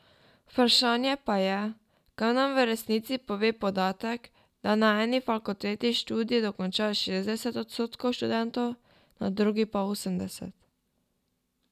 Vprašanje pa je, kaj nam v resnici pove podatek, da na eni fakulteti študij dokonča šestdeset odstotkov študentov, na drugi pa osemdeset.